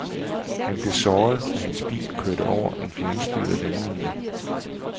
Han blev såret, da hans bil kørte over en fjernstyret landmine.